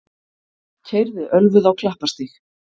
Keyrði ölvuð á Klapparstíg